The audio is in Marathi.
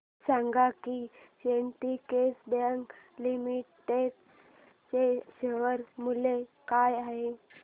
हे सांगा की सिंडीकेट बँक लिमिटेड चे शेअर मूल्य काय आहे